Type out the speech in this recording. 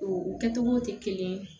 O kɛ togo tɛ kelen ye